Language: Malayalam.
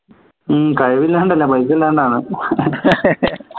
ഹും കഴിവില്ലാണ്ടല്ല പൈസ ഇല്ലാണ്ടാ